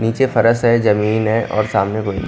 नीचे फर्श है जमीन है और सामने को--